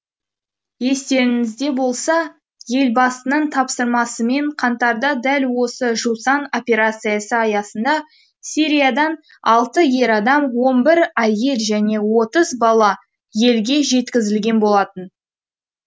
естеріңізде болса елбасының тапсырмасымен қаңтарда дәл осы жусан операциясы аясында сириядан алты ер адам он бір әйел және отыз бала елге жеткізілген болатын